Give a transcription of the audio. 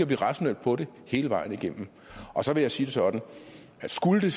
vi rationelt på det hele vejen igennem så vil jeg sige det sådan at skulle